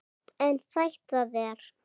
En sætt af þér!